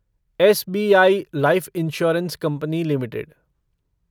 SBI life insurance company limited